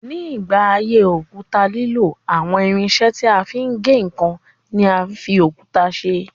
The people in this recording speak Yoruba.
Nígbà ayé òkúta lílò, àwọn irinṣẹ́ tí a fi ń gé ǹkan ni a fi òkúta ṣe.